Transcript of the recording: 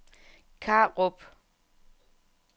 Karup